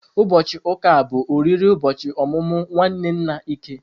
Ụbọchị ụka a, bụ oriri ụbọchị ọmụmụ nwanne nna Ike.